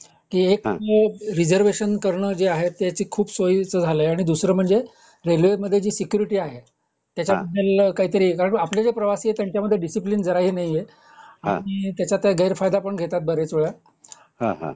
की एक रिजर्वेशन करण आहे ते खूप सोयीचा झालंय आणि दूसरा म्हणजे रेल्वे मध्ये जी सेक्युर्टी आहे त्याचमध्ये आपल्याला काही तरी कारण आपल्यामद्धे जे प्रवासी आहेत त्यांचमध्ये दिसईपलिन जरा ही नाहीये काही त्याचात गैरफायदा पण घेतात बरेच वेळा